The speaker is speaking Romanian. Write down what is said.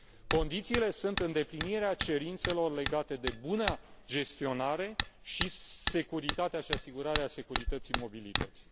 Condițiile sunt îndeplinirea cerințelor legate de buna gestionare și securitate, și asigurarea securității mobilității.